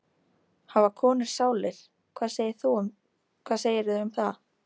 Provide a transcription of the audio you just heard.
Hafa konur sálir, hvað segirðu um það?